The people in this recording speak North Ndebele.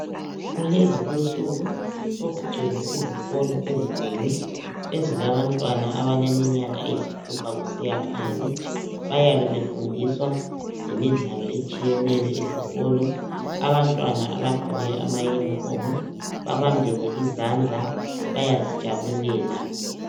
Kulezi insuku sokugcwele izikolo ezinengi ezilabantwana abaleminyaka eyisithupha kusiya phansi. Bayabe befundiswa ngemidlalo etshiyeneyo esikolo. Abantwana abagqoke amayunifomu, babambene izandla, bayazijabulela.